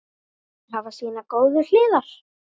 Allir hafa sínar góðu hliðar.